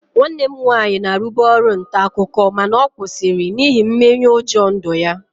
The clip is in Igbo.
Nwanne m nwaanyị na-arụbu ọrụ nta akụkọ mana ọ kwụsịrị n'ihi mmenyeụjọ ndụ ya